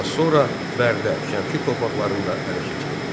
Az sonra Bərdə, Şəmkir torpaqlarını da ələ keçirdi.